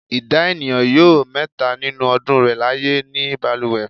Ìdá ènìyàn yóò mẹhta nínú ọdún rẹ̀ láyé ní balùwẹ̀.